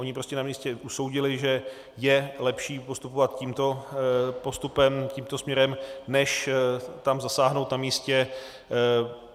Oni prostě na místě usoudili, že je lepší postupovat tímto postupem, tímto směrem, než tam zasáhnout na místě.